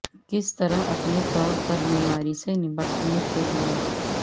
کس طرح اپنے طور پر بیماری سے نمٹنے کے لئے